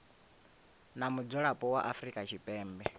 na mudzulapo wa afrika tshipembe